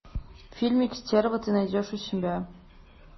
фильмик стерва ты найдешь у себя